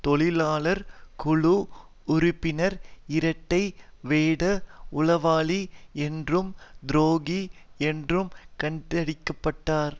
தொழிலாளர் குழு உறுப்பினர் இரட்டை வேட உளவாளி என்றும் துரோகி என்றும் கண்டிக்கப்பட்டார்